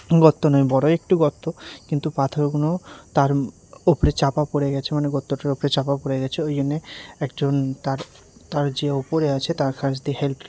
গত্ত নেই বড় একটি গত্ত কিন্তু পাথরগুনো তার ওপরে চাপা পড়ে গেছে মানে গত্তটার ওপরে চাপা পড়ে গেছে ওই জন্যে একজন তার তার যে ওপরে আছে তার কাছ দিয়ে হেল্প --